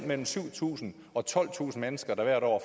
mellem syv tusind og tolvtusind mennesker der hvert år